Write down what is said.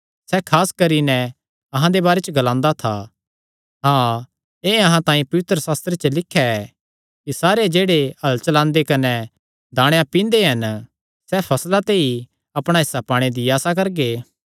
सैह़ खास करी नैं अहां दे बारे च ग्लादा था हाँ एह़ अहां तांई पवित्रशास्त्रे च लिख्या ऐ कि सारे जेह्ड़े हल़ चलांदे कने दाणेयां पींदे हन सैह़ फसला ते ई अपणा हिस्सा पाणे दी आसा करगे